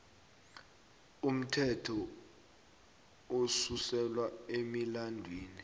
umthetho osuselwa emilandwini